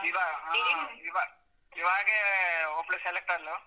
ಇವಾ~ ಇವ~ ಇವಾಗೆ ಒಬ್ಳ್ select ಆದ್ಲು.